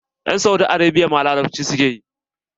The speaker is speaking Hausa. Yan Saudi Arabia ma larabci suke yi.